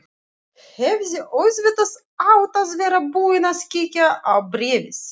Hefði auðvitað átt að vera búin að kíkja á bréfið.